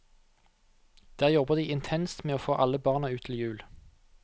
Der jobber de intenst med å få alle barna ut til jul.